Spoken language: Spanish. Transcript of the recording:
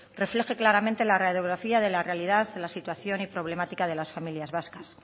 refleje claramente la radiografía de la realidad la situación y problemática de las familias vascas